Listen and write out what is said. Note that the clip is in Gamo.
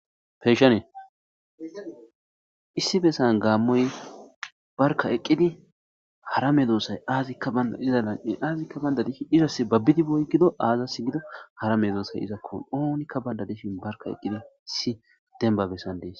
Peeshane issi bessan gaammoy barka eqqidi hara medoosay aazikka banda iza lan'e aazikka bayndadihi izas babbidiboy gido aazas gido hara me doosay izakko oonikka baynda deshin barka eqqidi si denbabessan dees.